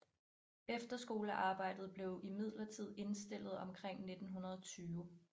Efterskolearbejdet blev imidlertid indstillet omkring 1920